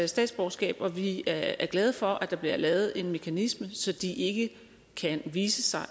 statsborgerskab og vi er glade for at der bliver lavet en mekanisme så de ikke kan vise sig